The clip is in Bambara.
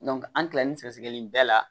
an kilalen sɛgɛ sɛgɛli bɛɛ la